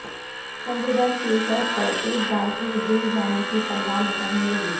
سنجے دت کے سر پر ایک بار پھر جیل جانے کی تلوار لٹکنے لگی